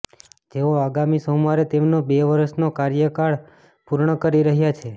જેઓ આગામી સોમવારે તેમનો બે વર્ષનો કાર્યકાળ પૂર્ણ કરી રહ્યા છે